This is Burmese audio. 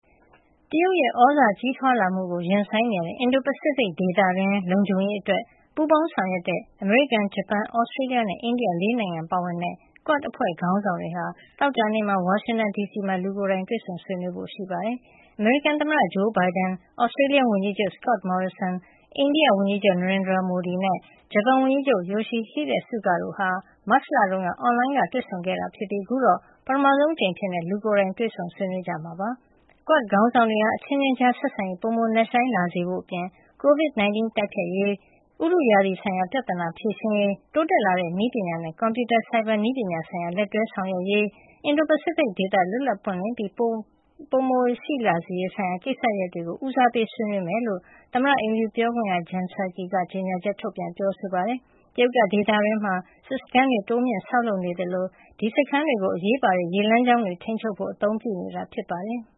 တရုတ်ရဲ့သြဇာကြီးထွားလာမှုကို ရင်ဆိုင်နေရတဲ့ အင်ဒို-ပစိဖိတ်ဒေသတွင်း လုံခြုံရေး အတွက် ပူးပေါင်းဆောင်ရွက်တဲ့ အမေရိကန်၊ ဂျပန်၊ Australia နဲ့ အိန္ဒိယ ၄ နိုင်ငံ ပါဝင်တဲ့ QUAD အဖွဲ့ ခေါင်းဆောင်တွေဟာ သောကြာနေ့မှာ ဝါရှင်တန်ဒီစီမှာ လူကိုယ်တိုင် တွေ့ဆုံဆွေးနွေး ဖို့ရှိပါတယ်။ အမေရိကန်သမ္မတဂျိုးဘိုင်ဒန်၊ Australia ဝန်ကြီးချုပ် Scott Morrison ၊အိန္ဒိယဝန်ကြီးချုပ် Narendra Modi နဲ့ ဂျပန်ဝန်ကြီးချုပ် Yoshihide Suga တို့ဟာ မတ်လတုန်းက အွန်လိုင်းကနေတွေ့ဆုံ ဆွေးနွေးခဲ့တာဖြစ်ပြီး အခုတော့ ပထမဆုံးအကြိမ်အဖြစ် လူကိုယ်တိုင် တွေ့ဆုံ ဆွေးနွေးကြမှာ ဖြစ်ပါတယ်။ QUAD ခေါင်းဆောင်တွေဟာ အချင်းချင်းကြားဆက်ဆံရေး ပိုမိုနက်ရှိုင်းလာစေဖို့အပြင် ကိုဗစ် ၁၉ တိုက်ဖျက်ရေး၊ ဥတုရာသီဆိုင်ရာ ပြဿနာတွေဖြေရှင်းရေး၊ တိုးတက်လာတဲ့ နည်းပညာနဲ့ ကွန်ပြူတာဆိုင်ဘာနည်းပညာ ဆိုင်ရာလက်တွဲဆောင်ရွက်ရေး၊ အင်ဒို-ပစိဖိတ်ဒေသ လွတ်လပ်ပြီး ပွင့်လင်းမှု ပိုရှိလာစေရေး ဆိုင်ရာကိစ္စရပ်တွေကို ဦးစားပေး ဆွေးနွေးမှာ ဖြစ်ကြောင်း သမ္မတအိမ်ဖြူ ပြောခွင့်ရ Jenn Psaki က ကြေညာချက် ထုတ်ပြန်ပြောဆိုပါတယ်။ တရုတ်က ဒေသတွင်းမှာ စစ်စခန်းတွေ တိုးမြှင့် ဆောက်လုပ်နေသလို အဲဒီစခန်းတွေကို သူတို့ပိုင်နက်အဖြစ် ကြေညာပြီး အရေးပါတဲ့ ရေလမ်းကြောင်းတွေ ထိန်းချုပ်ဖို့ အသုံးပြုနေတာဖြစ်ပါတယ်။